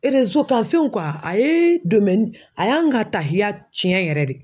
Erezo kan fɛn a ye a y'an ka tahiya cɛn yɛrɛ de.